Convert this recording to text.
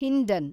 Hindon